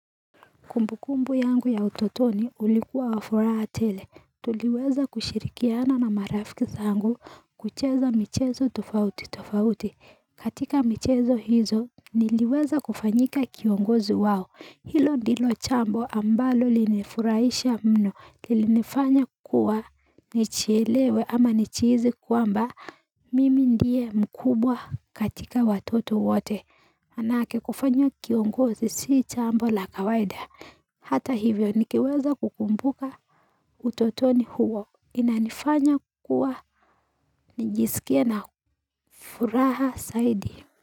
Kumbukumbu yangu ya utotoni ulikuwa wafuraha tele. Tuliweza kushirikiana na marafiki sangu. Kucheza michezo tofauti tofauti. Katika michezo hizo, niliweza kufanyika kiongozi wao. Hilo ndilo chambo ambalo linifuraisha mno linifanya kuwa. Nichielewe ama nichizi kwamba mimi ndiye mkubwa katika watoto wote Manake kufanywa kiongozi si chambo la kawaida. Hata hivyo nikiweza kukumbuka utotoni huo, inanifanya kuwa, nijisikie na furaha saidi.